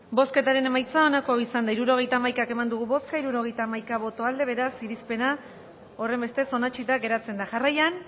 bozketaren emaitza onako izan da hirurogeita hamaika eman dugu bozka hirurogeita hamaika boto aldekoa beraz irizpena horrenbestez onetsita geratzen da jarraian